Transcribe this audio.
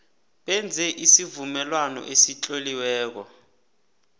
benze isivumelwano esitloliweko